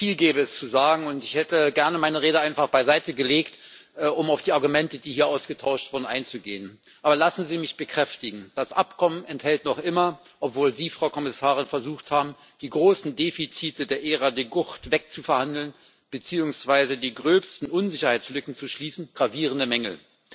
Viel gäbe es zu sagen und ich hätte gerne meine Rede einfach beiseite gelegt, um auf die Argumente, die hier ausgetauscht wurden, einzugehen. Aber lassen Sie mich bekräftigen Das Abkommen enthält noch immer obwohl Sie, Frau Kommissarin, versucht haben, die großen Defizite der Ära De Gucht wegzuverhandeln beziehungsweise die gröbsten Unsicherheitslücken zu schließen gravierende Mängel.